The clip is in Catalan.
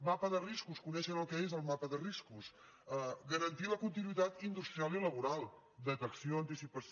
mapa de riscos coneixen el que és el mapa de riscos garantir la continuïtat industrial i laboral detecció anticipació